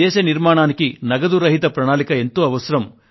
దేశ నిర్మాణానికి నగదు రహిత ప్రణాళిక ఎంతో అవసరం